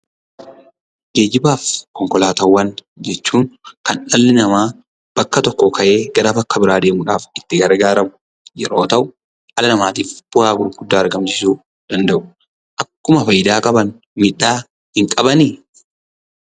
Geejjibaa fi konkolaataawwan jechuun kan dhalli namaa bakka tokkoo ka'ee gara bakka biraa deemuudhaaf kan itti gargaaramu yoo ta'u dhala namaatiif bu'aa gurguddaa argamsiisuu danda'u. Akkuma faayidaa qaban miidhaa hin qabanii?